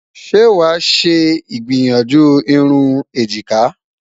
ṣé wà ṣé igbiyanju irún ejika?